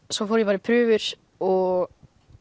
svo fór ég bara í prufur og